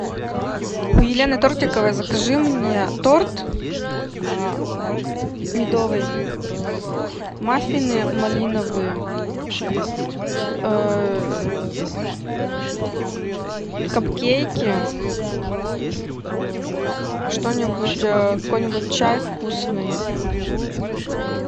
у елены тортиковой закажи мне торт медовый маффины малиновые капкейки что нибудь какой нибудь чай вкусный